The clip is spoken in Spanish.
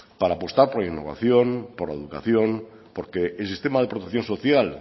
para apostar por innovación por la educación porque el sistema de protección social